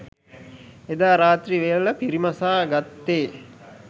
එදා රාත්‍රී වේල පිරිමසා ගත්තේ